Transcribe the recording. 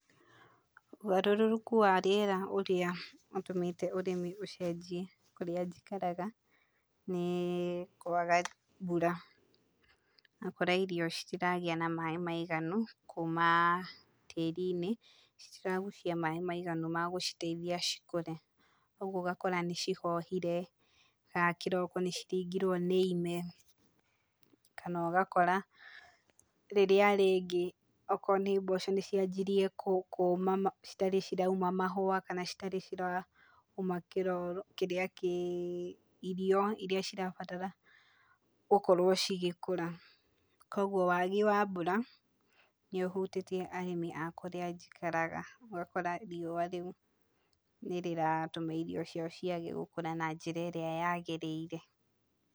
Ũgarũrũku wa rĩera ũrĩa ũtũmĩte ũrĩmi ũcenjie kũrĩa njikaraga, nĩ kwaga mbura, ũgakora irio citiragĩa na maĩ maiganu kuuma tĩri-inĩ, citiragucia maĩ maiganu ma gũciteithia cikũre, ũguo ũgakora nĩ cihohire, kana kĩroko nĩ ciringirwo nĩ ime, kana ũgakora rĩrĩa rĩngĩ okorwo nĩ mboco nĩ cianjirie kũũma citarĩ cirauma mahũa kana citarĩ cirauma kĩro kĩrĩa kĩ irio irĩa cirabatara gũkorwo cigĩkũra, koguo wagi wa mbura nĩ ũhutĩtie arĩmi a kũrĩa njikaraga, ũgakora riũa rĩu nĩ rĩratũma irio ciao ciage gũkũra na njĩra ĩrĩa yagĩrĩire.